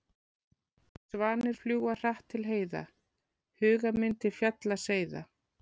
Svanir fljúga hratt til heiða, huga minn til fjalla seiða.